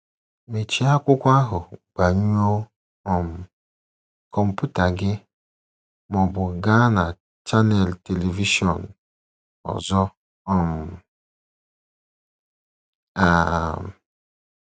Mechie akwụkwọ ahụ, gbanyụọ um kọmputa gị, ma ọ bụ gaa na chanel telivishọn ọzọ um! um